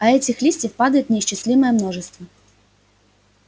а этих листьев падает неисчислимое множество